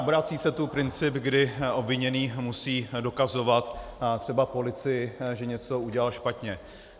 Obrací se tu princip, kdy obviněný musí dokazovat třeba policii, že něco udělal špatně.